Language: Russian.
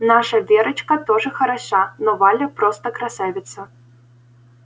наша верочка тоже хороша но валя просто красавица